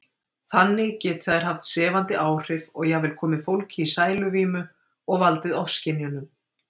Þannig geti þær haft sefandi áhrif og jafnvel komið fólki í sæluvímu og valdið ofskynjunum.